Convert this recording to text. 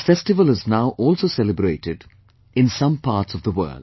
This festival is now also celebrated in some parts of the world